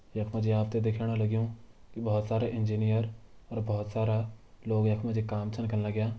यख मा जी आप तैं दिखेणा लग्यूं कि बहोत सारा इंजीनियर और बहोत सारा लोग यख मा जी काम छन करण लग्यां ।